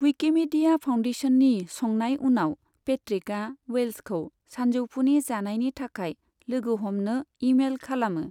Wikimedia फाउन्डेशननि संनाय उनाव, पेट्रिकआ वेल्सखौ साजौफुनि जानायनि थाखाय लोगो हमनो इमेल खालामो।